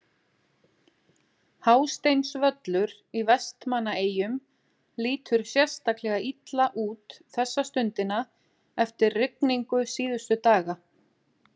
Hásteinsvöllur í Vestmannaeyjum lítur sérstaklega illa út þessa stundina eftir rigningu síðustu daga.